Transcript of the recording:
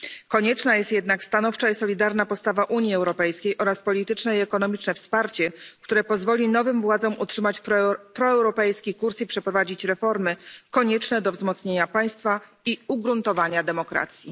Konieczna jest jednak stanowcza i solidarna postawa Unii Europejskiej oraz polityczne i ekonomiczne wsparcie, które pozwoli nowym władzom utrzymać proeuropejski kurs i przeprowadzić reformy konieczne do wzmocnienia państwa i ugruntowania demokracji.